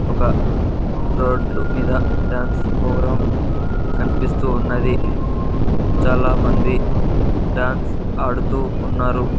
ఒక రోడ్లు మీద డాన్స్ ప్రోగ్రాం కనిపిస్తూ ఉన్నది చాలామంది డాన్స్ ఆడుతూ ఉన్నారు.